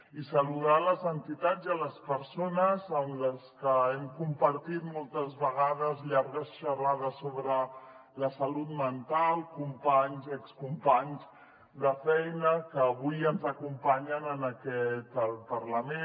i saludar les entitats i les persones amb les que hem compartit moltes vegades llargues xerrades sobre la salut mental companys i excompanys de feina que avui ens acompanyen en aquest parlament